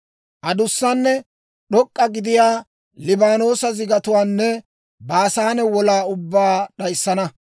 adussanne d'ok'k'a gidiyaa Liibaanoosa zigatuwaanne Baasaane wolaa ubbaa d'ayissana;